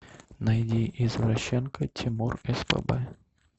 найди извращенка тимур спб